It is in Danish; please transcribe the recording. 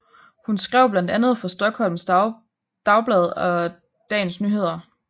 Hun skrev blandt andet for Stockholms Dagblad og Dagens Nyheter